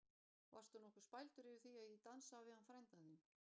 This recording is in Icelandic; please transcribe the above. Varstu nokkuð spældur yfir því að ég dansaði við hann frænda þinn?